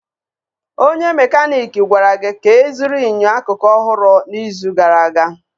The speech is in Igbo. Onye mekaniiki gwara gị ka ịzụrụ enyo akụkụ ọhụrụ n'izu gara aga.